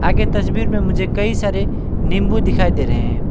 ये तस्वीर में मुझे कई सारे नींबू दिखाई दे रहे।